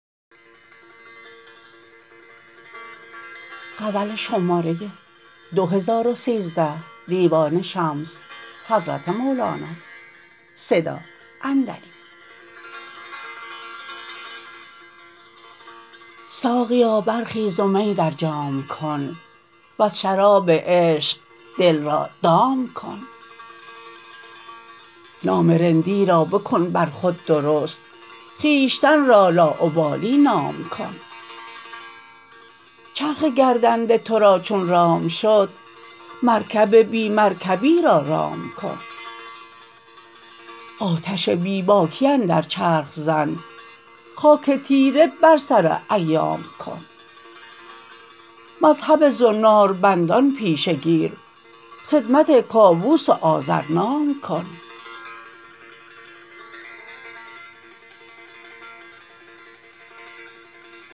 ساقیا برخیز و می در جام کن وز شراب عشق دل را دام کن نام رندی را بکن بر خود درست خویشتن را لاابالی نام کن چرخ گردنده تو را چون رام شد مرکب بی مرکبی را رام کن آتش بی باکی اندر چرخ زن خاک تیره بر سر ایام کن مذهب زناربندان پیشه گیر خدمت کاووس و آذرنام کن